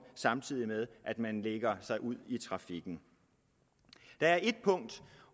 samtidig med at man bevæger sig ud i trafikken der er et punkt